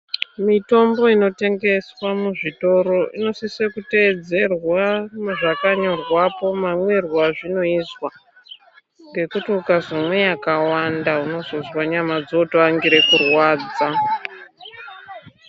Mitombo inotengeswa muzvitoro inosise kuteedzerwa zvakanyorwapo mamwirwo azvinoizwa ngekuti ukazomwe yakawanda unozozwa nyama dzootoangire kurwadza.